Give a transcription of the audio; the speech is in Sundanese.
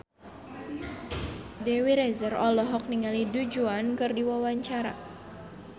Dewi Rezer olohok ningali Du Juan keur diwawancara